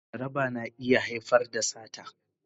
Jaraba na iya haifar da sata